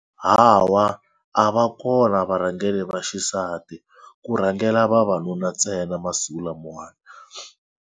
Hawa a va kona varhangeri va xisati ku rhangela vavanuna ntsena masiku lamawani.